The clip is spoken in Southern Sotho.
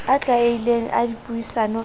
a tlwaelehileng a dipuisano ka